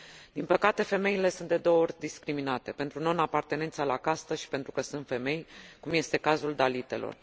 Din păcate, femeile sunt de două ori discriminate, pentru non apartenența la castă și pentru că sunt femei, cum este cazul dalitelor.